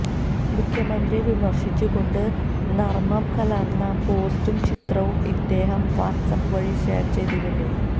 മുഖ്യമന്ത്രിയെ വിമർശിച്ചുകൊണ്ട് നർമ്മം കലർന്ന പോസ്റ്റും ചിത്രവും ഇദ്ദേഹം വാട്സാപ്പ് വഴി ഷെയർ ചെയ്തിരുന്നു